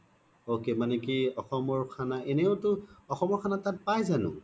ok মানে কি অসমৰ খানা এনেতো অসমৰ খানা পাই জানো